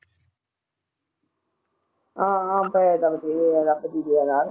ਹਾਂ ਹਾਂ ਪੈਸੇ ਤਾਂ ਬਥੇਰੇ ਆ ਰੱਬ ਦੀ ਦਇਆ ਨਾਲ।